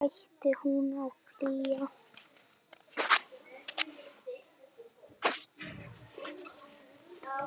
Hvern ætti hún að flýja?